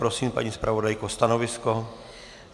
Prosím, paní zpravodajko, stanovisko.